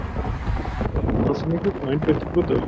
Einlægur ásetningur og einbeittur brotavilji?